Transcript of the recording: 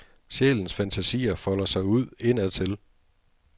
Sjælens fantasier folder sig ud indadtil.